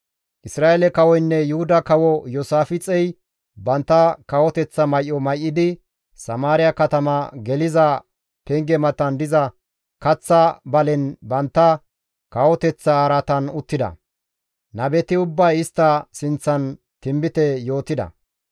Isra7eele kawoynne Yuhuda kawo Iyoosaafixey bantta kawoteththa may7o may7idi, Samaariya katama geliza penge matan diza kaththa balen bantta kawoteththa araatan uttida; nabeti ubbay istta sinththan tinbite yootida.